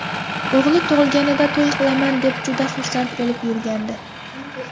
O‘g‘li tug‘ilganida to‘y qilaman deb juda xursand bo‘lib yurgandi.